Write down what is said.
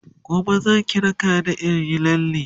gobe Zaki raka ni inyi lalle?.